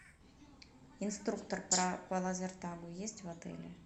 инструктор по лазертагу есть в отеле